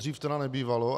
Dříve to nebývalo.